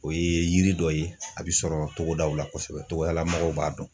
O ye yiri dɔ ye a bɛ sɔrɔ togodaw la kosɛbɛ togoda lamɔgɔw b'a dɔn.